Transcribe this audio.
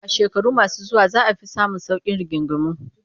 A shekaru masu zuwa za a fi samun sauƙin rigingimu